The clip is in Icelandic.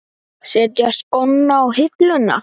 Setja skóna á hilluna?